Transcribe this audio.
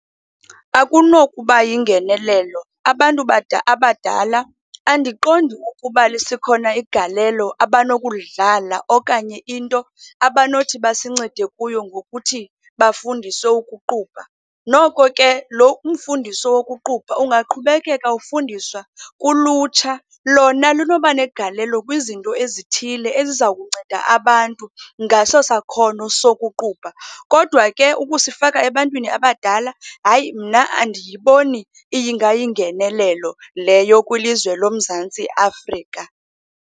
Akunokuba yingenelelo. Abantu abadala andiqondi ukuba lisekhona igalelo abanokulidlala okanye into abanothi basincede kuyo ngokuthi bafundiswe ukuqubha. Noko ke lo umfundiso wokuqubha ungaqhubekeka ufundiswa kulutsha, lona lunoba negalelo kwizinto ezithile ezizawukunceda abantu ngaso sakhono sokuqubha. Kodwa ke ukusifaka ebantwini abadala, hayi mna andiyiboni ingayingenelelo leyo kwilizwe loMzantsi Afrika.